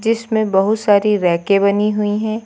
इसमें बहोत सारी रैंके बनी हुई हैं।